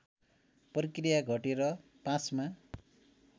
प्रक्रिया घटेर ५मा